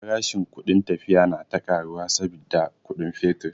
Farashin kudin tafiya na ta karuwa saboda kudin fetur.